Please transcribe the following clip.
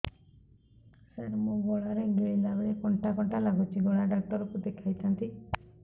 ସାର ମୋ ଗଳା ରେ ଗିଳିଲା ବେଲେ କଣ୍ଟା କଣ୍ଟା ଲାଗୁଛି ଗଳା ଡକ୍ଟର କୁ ଦେଖାଇ ଥାନ୍ତି